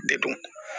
De dun